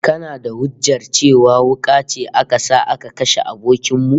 Kana da hujjar cewa wuka ce aka sa aka kashe abokin mu?